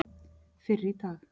fyrr í dag.